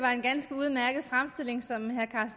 var en ganske udmærket fremstilling som herre